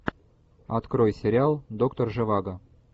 открой сериал доктор живаго